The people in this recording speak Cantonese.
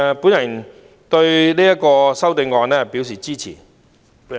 我對於《條例草案》表示支持。